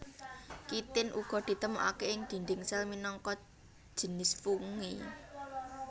Kitin uga ditemokaké ing dinding sel minangka jinis fungi